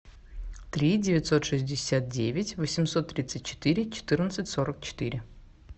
три девятьсот шестьдесят девять восемьсот тридцать четыре четырнадцать сорок четыре